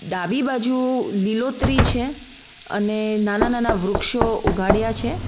ડાબી બાજુ લીલોતરી છે અને નાના નાના વૃક્ષો ઉગાડ્યા છે.